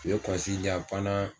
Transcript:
u ye di yan